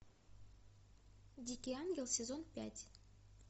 дикий ангел сезон пять